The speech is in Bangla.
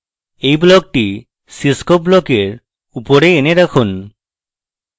এই ব্লকটি cscope ব্লকের উপরে এনে রাখুন